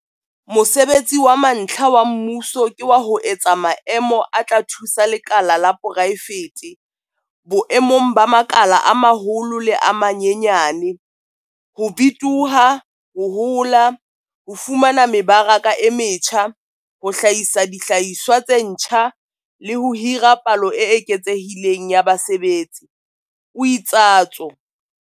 Mosebetsi wa mantlha wa mmuso ke wa ho etsa maemo a tla thusa lekala la poraefete boemong ba makala a maholo le a manyenyane ho bitoha, ho hola, ho fumana mebaraka e metjha, ho hlahisa dihlahiswa tse ntjha, le ho hira palo e eketsehileng ya basebetsi, o itsatso.